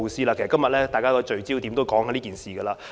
其實，今天大家的焦點都集中討論這事。